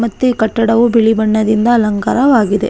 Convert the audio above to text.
ಮತ್ತು ಈ ಕಟ್ಟಡವು ಬಿಳಿ ಬಣ್ಣದಿಂದ ಅಲಂಕಾರವಾಗಿದೆ .